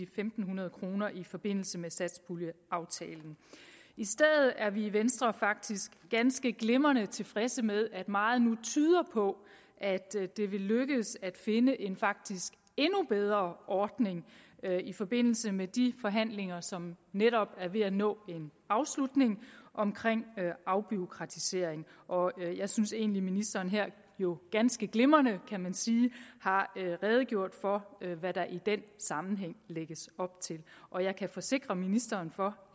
fem hundrede kroner i forbindelse med satspuljeaftalen i stedet er vi i venstre faktisk ganske glimrende tilfredse med at meget nu tyder på at det vil lykkes at finde en faktisk endnu bedre ordning i forbindelse med de forhandlinger som netop er ved at nå en afslutning omkring afbureaukratisering og jeg synes egentlig at ministeren jo ganske glimrende kan man sige har redegjort for hvad der i den sammenhæng lægges op til og jeg kan forsikre ministeren for